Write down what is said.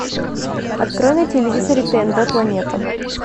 открой на телевизоре тнв планета